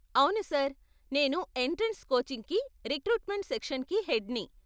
అవును సార్, నేను ఎంట్రెన్స్ కోచింగ్కి రిక్రూట్మెంట్ సెక్షన్కి హెడ్ని.